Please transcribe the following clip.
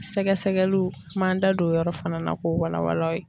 Sɛgɛsɛgɛliw an m'an da don o yɔrɔ fana na k'o walawala.